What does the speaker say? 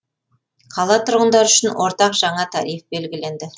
қала тұрғындары үшін ортақ жаңа тариф белгіленді